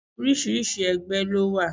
Orísìí ẹgbẹ́ ló wà.